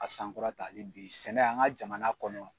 A sankɔrɔtali bi sɛnɛ, an ka jamana kɔnɔ